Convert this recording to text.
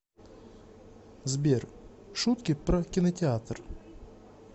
сбер шутки про кинотеатр